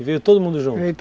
E veio todo mundo junto?